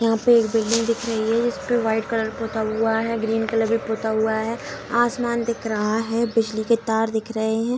यहां पे एक बिल्डिंग दिख रही है इसपे व्हाइट कलर पुता हुआ है ग्रीन कलर भी पुता हुआ है आसमान दिख रहा है बिजली के तार दिख रहे है।